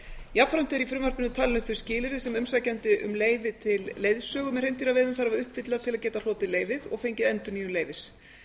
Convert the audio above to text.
jafnframt eru í frumvarpinu talin upp þau skilyrði sem umsækjandi um leyfi til leiðsögu með hreindýraveiðum þarf að uppfylla til að geta hlotið leyfið og fengið endurnýjun leyfis